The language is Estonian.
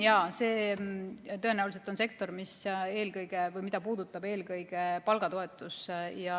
Jaa, see on tõenäoliselt sektor, mida puudutab eelkõige palgatoetus.